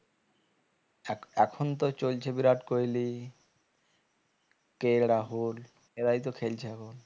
এখন তো চলছে বিরাট কোহলি K. L. রাহুল এরাই তো খেলছে এখন